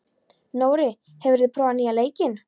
Nóri, hefur þú prófað nýja leikinn?